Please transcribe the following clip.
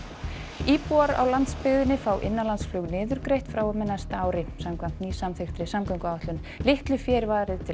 íbúar á landsbyggðinni fá innanlandsflug niðurgreitt frá og með næsta ári samkvæmt nýsamþykktri samgönguáætlun litlu fé er varið til